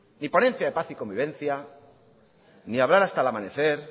ni ponencia de paz y convivencia ni hablar hasta el amanecer